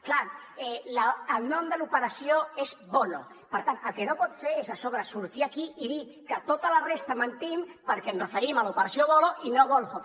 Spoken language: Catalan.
clar el nom de l’operació és voloh per tant el que no pot fer és a sobre sortir aquí i dir que tota la resta mentim perquè ens referim a l’operació voloh i no volhov